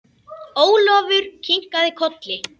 Ólafur kinkaði kolli.